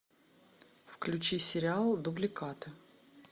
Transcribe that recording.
включи сериал дубликаты